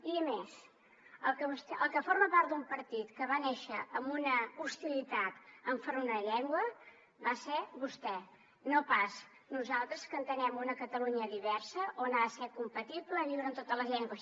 i a més el que forma part d’un partit que va néixer amb una hostilitat enfront d’una llengua va ser vostè no pas nosaltres que entenem una catalunya diversa on ha de ser compatible viure amb totes les llengües